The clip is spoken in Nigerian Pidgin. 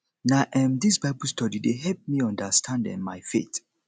na um dis bible study dey help me understand um my faith